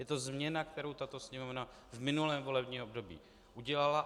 Je to změna, kterou tato Sněmovna v minulém volebním období udělala.